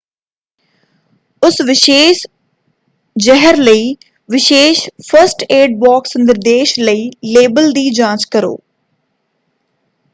ਉਸ ਵਿਸ਼ੇਸ਼ ਜ਼ਹਿਰ ਲਈ ਵਿਸ਼ੇਸ਼ ਫਸਟ ਏਡ ਬਾਕਸ ਨਿਰਦੇਸ਼ ਲਈ ਲੇਬਲ ਦੀ ਜਾਂਚ ਕਰੋ।